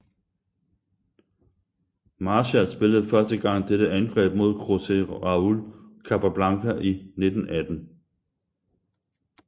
Marshall spillede første gang dette angreb mod Jose Raul Capablanca i 1918